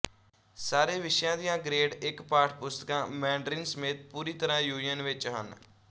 ਸਾਰੇ ਵਿਸ਼ਿਆਂ ਦੀਆਂ ਗਰੇਡ ਇਕ ਪਾਠ ਪੁਸਤਕਾਂ ਮੈਂਡਰਿਨ ਸਮੇਤ ਪੂਰੀ ਤਰ੍ਹਾਂ ਜ਼ੂਯਿਨ ਵਿੱਚ ਹਨ